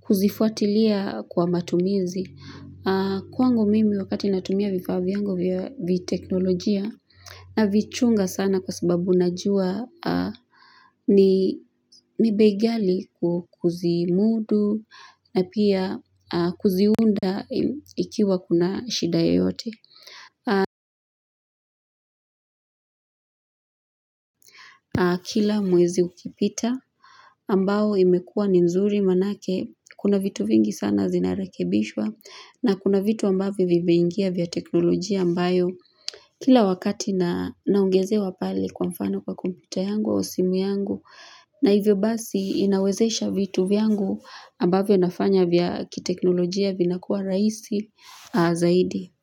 kuzifuatilia kwa matumizi. Kwangu mimi wakati natumia vifaa vyangu vya teknolojia na vichunga sana kwa sababu najua ni bei gali kuzimudu na pia kuziunda ikiwa kuna shida yeyote. Na kila mwezi ukipita ambao imekua ni nzuri manake kuna vitu vingi sana zinarakebishwa na kuna vitu ambavyo vimeingia vya teknolojia ambayo kila wakati na naongezewa pale kwa mfano kwa kumputa yangu au simu yangu na hivyo basi inawezesha vitu vyangu ambavyo nafanya vya kiteknolojia vina kuwa rahisi zaidi.